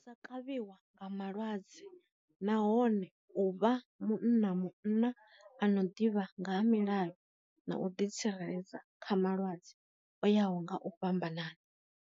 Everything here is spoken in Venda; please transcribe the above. Sa kavhiwa nga malwadze nahone u vha munna munna ano ḓivha nga ha milayo na u ḓi tsireledza kha malwadze o yaho nga u fhambanana.